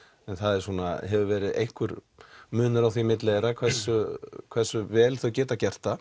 en það hefur verið einhver munur á því milli þeirra hversu hversu vel þau geta gert það